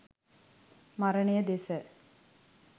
මරණය දෙස